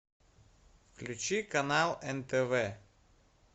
включи канал нтв